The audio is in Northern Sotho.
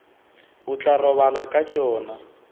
o tla robala ka tšona